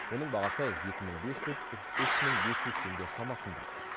оның бағасы екі мың бес жүз үш мың бес жүз теңге шамасында